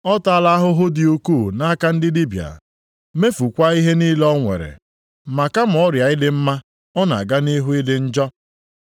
Ọ taala ahụhụ dị ukwuu nʼaka ndị dibịa, mefukwaa ihe niile o nwere. Ma kama ọrịa ya ịdị mma, ọ na-aga nʼihu ịdị njọ.